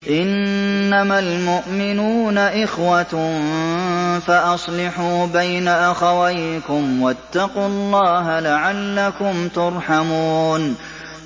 إِنَّمَا الْمُؤْمِنُونَ إِخْوَةٌ فَأَصْلِحُوا بَيْنَ أَخَوَيْكُمْ ۚ وَاتَّقُوا اللَّهَ لَعَلَّكُمْ تُرْحَمُونَ